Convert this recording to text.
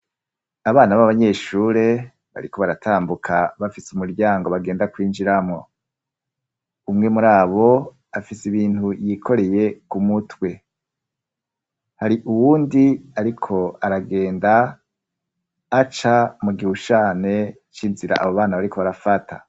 Abana b'abanyeshure, bariko baratambuka bafise umuryango bagenda kwinjiramo; umwe muri abo afise ibintu yikoreye ku mutwe; hari uwundi ariko aragenda aca mu gihushane c'inzira abo bana bariko barafata.